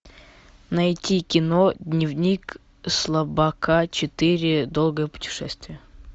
найти кино дневник слабака четыре долгое путешествие